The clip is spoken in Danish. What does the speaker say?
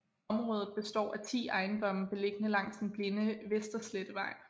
Området består af 10 ejendomme beliggende langs den blinde Vesterslettevej